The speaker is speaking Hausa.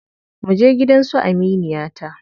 Muje gidan su aminiyata.